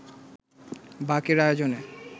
বাক-এর আয়োজনে